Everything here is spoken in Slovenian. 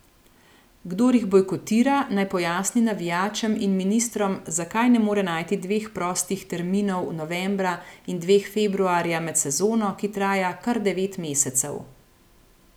Kdor jih bojkotira, naj pojasni navijačem in ministrom, zakaj ne more najti dveh prostih terminov novembra in dveh februarja med sezono, ki traja kar devet mesecev.